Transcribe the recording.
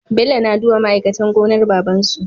Bello na duba ma aikatan gonar babansu